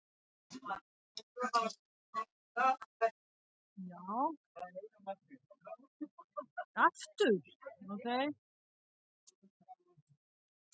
Gunnar Atli: Síðustu kílómetrarnir, voru þeir erfiðir?